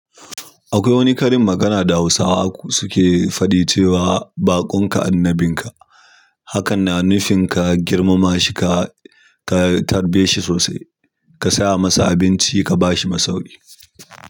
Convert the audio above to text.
Akwai wani karin magana da Hausawa suke faɗi cewa baƙonka annabinka. Hakan na nufin ka girmama shi ka, ka tarbe shi sosai, ka saya masa abinci, ka ba shi masauki.